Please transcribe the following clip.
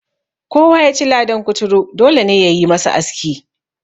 Kowa ya ci ladan kuturu, dole ne ya yi masa aski.